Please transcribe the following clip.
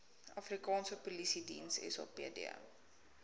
afrikaanse polisiediens sapd